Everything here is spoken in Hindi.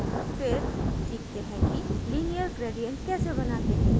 फिर सीखते हैं कि linear gradient कैसे बनाते हैं